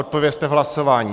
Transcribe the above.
Odpovězte v hlasování!